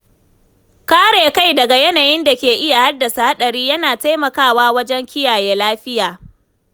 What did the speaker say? Kare kai daga yanayin da ke iya haddasa haɗari yana taimakawa wajen kiyaye lafiya.